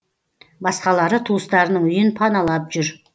басқалары туыстарының үйін паналап жүр